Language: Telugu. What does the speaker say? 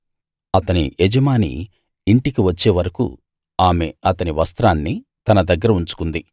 అతని యజమాని ఇంటికి వచ్చే వరకూ ఆమె అతని వస్త్రాన్ని తన దగ్గర ఉంచుకుంది